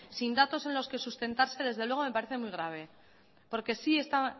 sin datos en los que sustentarse desde luego me parece muy grave porque sí está